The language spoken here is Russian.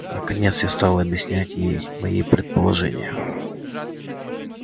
наконец я стал объяснять ей мои предположения